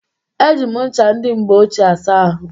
Eji m ncha ndị mgbe ochie asa ahụ